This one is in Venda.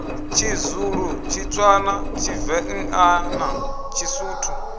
tshizulu tshitswana tshivenḓa na tshisuthu